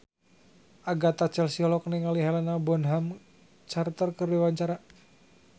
Agatha Chelsea olohok ningali Helena Bonham Carter keur diwawancara